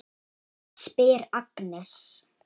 spyr Agnes.